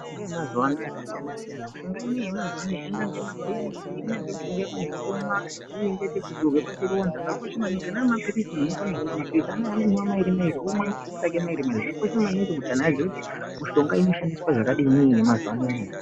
Mishonga yamazuwa ano yakasiyana -siyana angaa mapirizi nyange mishonga imweni yekumwa yekuzora pachironda mapirizi womwa mairi mairi zvakakosha maningi kuti anhu aziye kuti mishonga inoshandiswa zvakadii yemazuwa anaya .